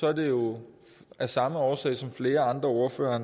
er det jo af samme årsag som flere andre ordførere